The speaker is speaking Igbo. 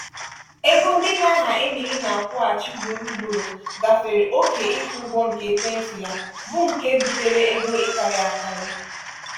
ego ndenye aha emily na-akwụghachi ugboro ugboro gafere oke ịkwụ ịkwụ ụgwọ nke ekwentị ya bụ nke butere ego ịkarị akarị.